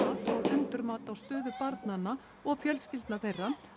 endurmat á stöðu barnanna og fjölskyldna þeirra